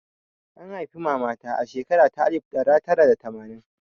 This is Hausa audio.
An haifi mama ta a shekara ta alif ɗara tara da tamanin